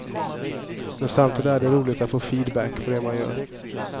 Men samtidigt är det roligt att få feedback på det man gör.